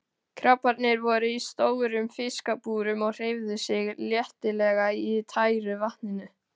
Krabbarnnir voru í stórum fiskabúrum og hreyfðu sig letilega í tæru vatninu.